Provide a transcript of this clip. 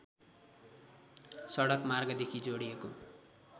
सडक मार्गदेखि जोडिएको